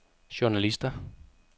journalister